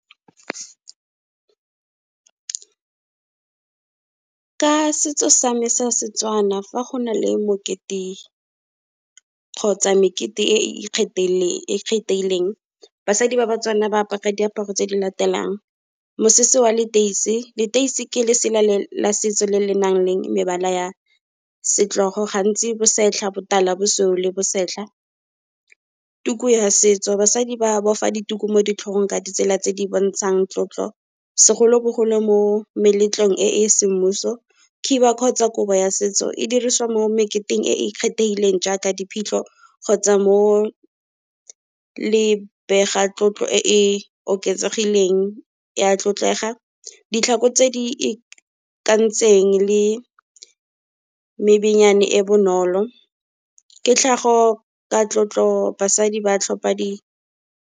Ka setso sa me sa Setswana, fa go na le mokete kgotsa mekete e e ikgetheileng, basadi ba baTswana ba apara diaparo tse di latelang, mosese wa leteisi. Leteisi ke lesela la setso le le nang le mebala ya setlogo gantsi bosetlha, botala, bosweu le bosetlha. Tuku ya setso, basadi ba boifa dituku mo ditlhong ka ditsela tse di bontshang tlotlo, segolobogolo mo meletlong e e semmuso. Khiba kgotsa kobo ya setso, e dirisiwa mo mmeketeng e e kgethegileng jaaka di phitlho kgotsa mo lebegatlotlo e e oketsegileng ya tlotlega. Ditlhako tse di ikantseng le e bonolo. Ke tlhago ka tlotlo, basadi ba tlhopa di.